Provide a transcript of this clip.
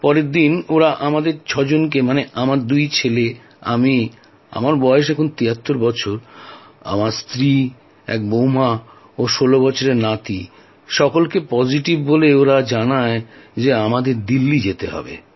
পরের দিন ওঁরা আমাদের ছয়জনকে মানে আমার দুই ছেলে আমি আমার বয়স তিয়াত্তর বছর আমার স্ত্রী এক বউমা ও ষোলো বছরের নাতি সকলকে পজিটিভ বলে আর জানায় যে আমাদের দিল্লি যেতে হবে